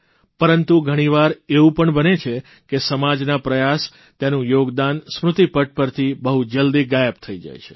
પરંતુ ઘણીવાર એવું પણ બને છે કે સમાજના પ્રયાસ તેનું યોગદાન સ્મૃતિપટ પરથી બહુ જલ્દી ગાયબ થઇ જાય છે